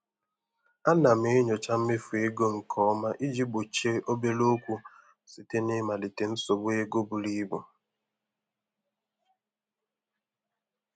A na m enyocha mmefu ego nke ọma iji gbochie obere okwu site na ịmalite nsogbu ego buru ibu.